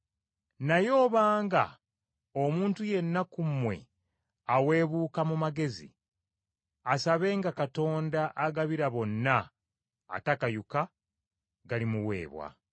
Naye obanga omuntu yenna ku mmwe aweebuka mu magezi, asabenga Katonda agabira bonna atakayuka, galimuweebwa.